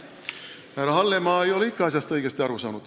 Härra Hallemaa ei ole ikka asjast õigesti aru saanud.